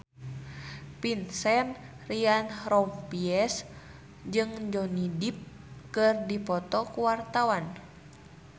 Vincent Ryan Rompies jeung Johnny Depp keur dipoto ku wartawan